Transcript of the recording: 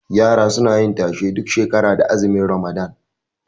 Yara suna yin tashe duk shekara da azumin ramadan